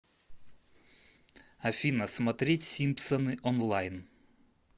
афина смотреть симпсоны онлайн